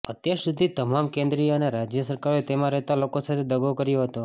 અત્યાર સુધી તમામ કેન્દ્રીય અને રાજય સરકારોએ તેમાં રહેતા લોકો સાથે દગો કર્યો હતો